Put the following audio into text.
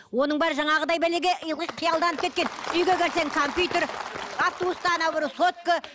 оның бәрі жаңағыдай бәлеге ылғи қиялданып кеткен үйге келсең компьютер автобуста ана біреу сотка